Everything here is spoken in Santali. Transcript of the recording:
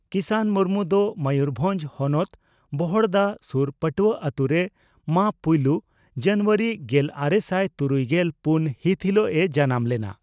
ᱠᱤᱥᱟᱱ ᱢᱩᱨᱢᱩ ᱫᱚ ᱢᱚᱭᱩᱨᱵᱷᱚᱸᱡᱽ ᱦᱚᱱᱚᱛ ᱵᱚᱦᱚᱲᱫᱟ ᱥᱩᱨ ᱯᱟᱴᱩᱣᱟᱹ ᱟᱛᱩ ᱨᱮ ᱢᱟᱹ ᱯᱩᱭᱞᱟᱹ ᱡᱟᱱᱩᱣᱟᱨᱤ ᱜᱮᱞᱟᱨᱮᱥᱟᱭ ᱛᱩᱨᱩᱭᱜᱮᱞ ᱯᱩᱱ ᱦᱤᱛ ᱦᱤᱞᱚᱜ ᱮ ᱡᱟᱱᱟᱢ ᱞᱮᱱᱟ ᱾